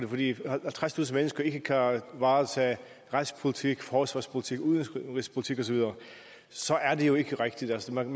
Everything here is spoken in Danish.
fordi halvtredstusind mennesker ikke kan varetage retspolitik forsvarspolitik udenrigspolitik osv så er det jo ikke rigtigt man